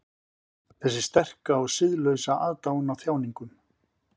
Þessi sterka og siðlausa aðdáun á þjáningum.